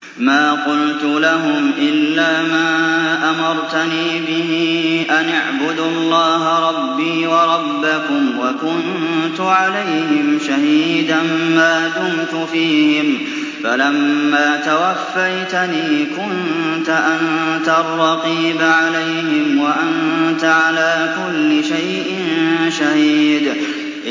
مَا قُلْتُ لَهُمْ إِلَّا مَا أَمَرْتَنِي بِهِ أَنِ اعْبُدُوا اللَّهَ رَبِّي وَرَبَّكُمْ ۚ وَكُنتُ عَلَيْهِمْ شَهِيدًا مَّا دُمْتُ فِيهِمْ ۖ فَلَمَّا تَوَفَّيْتَنِي كُنتَ أَنتَ الرَّقِيبَ عَلَيْهِمْ ۚ وَأَنتَ عَلَىٰ كُلِّ شَيْءٍ شَهِيدٌ